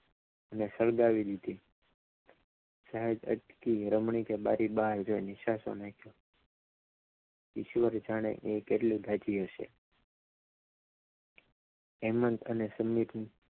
મને સળગાવી દીધી જાન અટકી રમણીકે બારી બહાર જોઇને નિસાસો નાખ્યો ઈશ્વર જાણે કેટલું દાજી હશે હેમંત અને સમીર